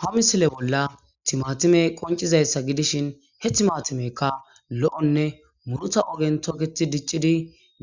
Ha misile bolla timaatime qoncizayssa gidishin heth maatimekka lo'nne muruta ogen toketi diccidi